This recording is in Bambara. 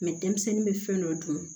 denmisɛnnin bɛ fɛn dɔ dun